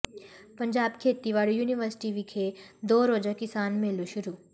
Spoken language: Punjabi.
ਪੰਜਾਬ ਖੇਤੀਬਾੜੀ ਯੂਨੀਵਰਸਿਟੀ ਵਿਖੇ ਦੋ ਰੋਜ਼ਾ ਕਿਸਾਨ ਮੇਲਾ ਸ਼ੁਰੂ